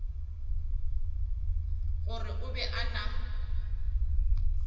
gore o be a na